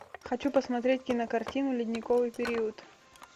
хочу посмотреть кинокартину ледниковый период